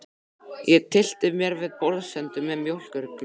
Ég tyllti mér við borðsendann með mjólkurglas.